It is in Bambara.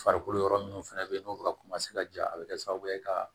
Farikolo yɔrɔ minnu fɛnɛ be yen n'u bɛ ka ka ja a bɛ kɛ sababu ye ka